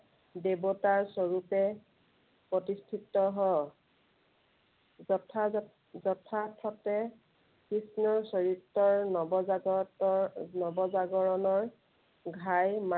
দেৱতা স্বৰূপে, প্ৰতিষ্ঠিত হয়। যথা~যথাৰ্থতে কৃষ্ণৰ চৰিত্ৰৰ নৱজাগত, নৱজাগৰণৰ ঘাই